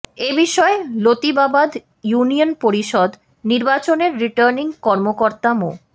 এ বিষয়ে লতিবাবাদ ইউনিয়ন পরিষদ নির্বাচনের রিটার্নিং কর্মকর্তা মো